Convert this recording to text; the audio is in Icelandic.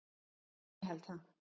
Ég held það.